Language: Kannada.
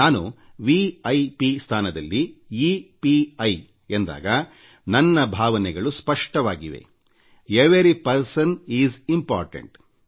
ನಾನು ವಿ ಐ ಪಿ ಸ್ಥಾನದಲ್ಲಿ ಇ ಪಿ ಐ ಎಂದಾಗ ನನ್ನ ಭಾವನೆಗಳು ಸ್ಪಷ್ಟವಾಗಿವೆ ಎವರಿ ಪರ್ಸನ್ ಇಸ್ ಇಂಪೋರ್ಟೆಂಟ್